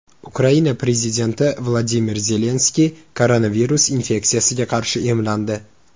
Ukraina prezidenti Vladimir Zelenskiy koronavirus infeksiyasiga qarshi emlandi.